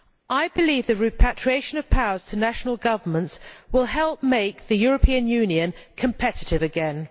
I believe the repatriation of powers to national governments will help make the European Union competitive again.